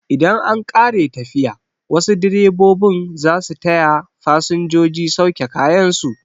Idan an ƙare tafiya, wasu direbobin zasu taya fasinjoji sauke kayan su